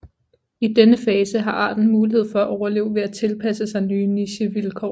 I den fase har arten mulighed for at overleve ved at tilpasse sig nye nichevilkår